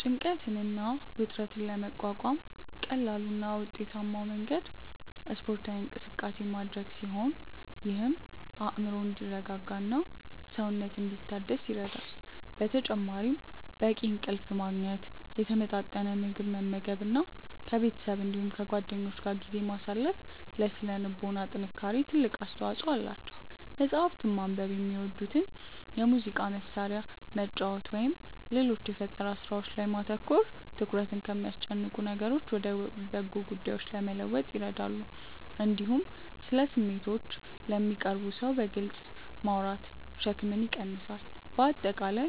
ጭንቀትን እና ውጥረትን ለመቋቋም ቀላሉ እና ውጤታማው መንገድ ስፖርታዊ እንቅስቃሴ ማድረግ ሲሆን ይህም አእምሮ እንዲረጋጋና ሰውነት እንዲታደስ ይረዳል። በተጨማሪም በቂ እንቅልፍ ማግኘት፣ የተመጣጠነ ምግብ መመገብ እና ከቤተሰብ እንዲሁም ከጓደኞች ጋር ጊዜ ማሳለፍ ለሥነ ልቦና ጥንካሬ ትልቅ አስተዋጽኦ አላቸው። መጽሐፍትን ማንበብ፣ የሚወዱትን የሙዚቃ መሣሪያ መጫወት ወይም ሌሎች የፈጠራ ሥራዎች ላይ ማተኮር ትኩረትን ከሚያስጨንቁ ነገሮች ወደ በጎ ጉዳዮች ለመለወጥ ይረዳሉ። እንዲሁም ስለ ስሜቶችዎ ለሚቀርቡዎት ሰው በግልጽ ማውራት ሸክምን ይቀንሳል። በአጠቃላይ